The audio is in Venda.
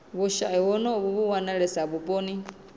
vhushayi honovhu vhu wanalesa vhuponi